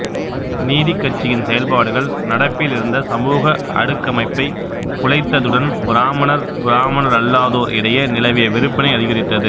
நீதிக்கட்சியின் செயல்பாடுகள் நடப்பில் இருந்த சமூக அடுக்கமைப்பைக் குலைத்ததுடன் பிராமணர் பிராமணரல்லாதோர் இடையே நிலவிய வெறுப்பினை அதிகரித்தது